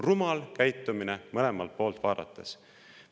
Rumal käitumine mõlemalt poolt vaadates.